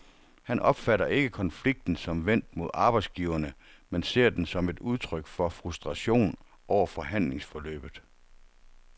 Han opfatter ikke konflikten som vendt mod arbejdsgiverne, men ser den som et udtryk for frustration over forhandlingsforløbet.